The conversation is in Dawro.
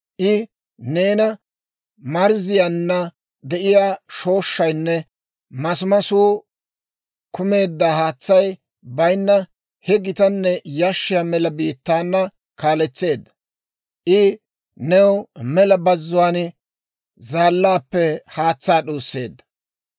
I neena marzziyaanna de'iyaa shooshshaynne masimasuu kumeedda, haatsay bayinna, he gitanne yashshiyaa mela biittaana kaaletseedda; I new mela bazzuwaan zaallaappe haatsaa d'uusseedda.